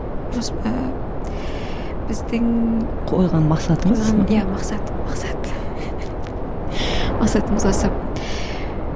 ыыы біздің қойған мақсатымыз қойған иә мақсат мақсат мақсатымыз осы